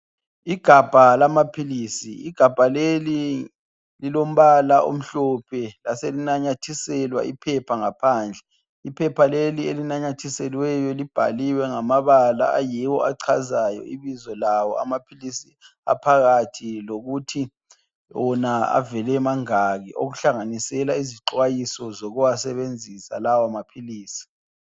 Igabha lamaphilisi, igabha leli lilombala omhlophe, laselinanyathiselwa iphepha ngaphandle, iphela leli elinanyathiselweyo libhaliwe ngamabala ayiwo achazayo ibizo lawo amaphilisi aphakathi lokuthi , wona avele emangaki okuhlanganisela izixwayiso zokuwasebenzisa lawo maphilisi.